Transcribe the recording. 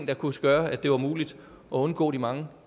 der kunne gøre at det var muligt at undgå de mange